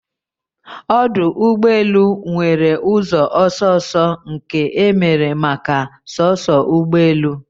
Ọdụ ụgbọ elu nwere ụzọ ọsọ ọsọ nke emere maka soso ụgbọ elu